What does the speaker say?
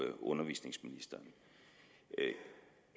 undervisningsministeren